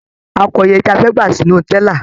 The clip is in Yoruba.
A kọ iye tí a fẹ́ gbà sínú tẹ́là.